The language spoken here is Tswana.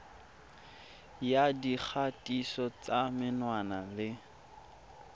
ya dikgatiso tsa menwana le